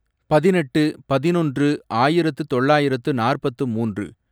பதினெட்டு, பதினொன்று, ஆயிரத்து தொள்ளாயிரத்து நாற்பத்து மூன்று